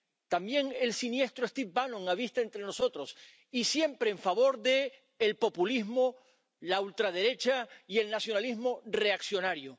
También el siniestro Steve Bannon habita entre nosotros, y siempre en favor del populismo, la ultraderecha y el nacionalismo reaccionario.